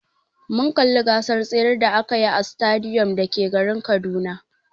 Mun kalli gasar tsere da akayi a sitadiyom da ke garin Kaduna.